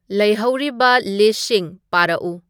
ꯂꯩꯍꯧꯔꯤꯕ ꯂꯤꯁ꯭ꯠꯁꯤꯡ ꯄꯥꯔꯛꯎ